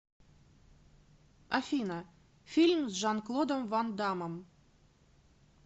афина фильм с жан клодом ван даммом